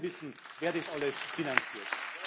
Ich würde auch gerne wissen, wer das alles finanziert.